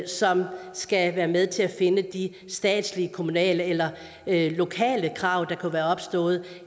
som skal være med til at finde de statslige kommunale eller lokale krav der kunne være opstået